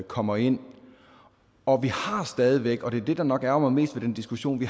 kommer ind og vi har stadig væk og det er det der nok ærgrer mig mest ved den diskussion